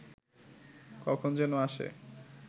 কখন যেন আসে